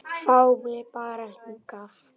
Fá mig bara hingað.